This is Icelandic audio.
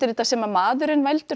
þetta sem maðurinn veldur